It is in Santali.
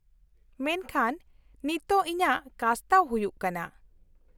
-ᱢᱮᱱᱠᱷᱟᱱ ᱱᱤᱛᱳᱜ ᱤᱧᱟᱹᱜ ᱠᱟᱥᱛᱟᱣ ᱦᱩᱭᱩᱜ ᱠᱟᱱᱟ ᱾